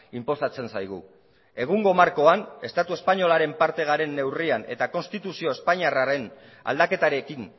inposatzen zaigu egungo markoan estatu espainolaren parte garen neurrian eta konstituzio espainiarraren aldaketarekin